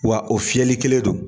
Wa o fiyɛli kelen don